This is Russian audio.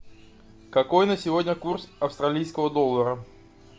какой на сегодня курс австралийского доллара